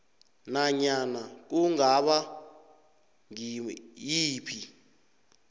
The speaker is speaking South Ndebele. nanyana kungaba ngiyiphi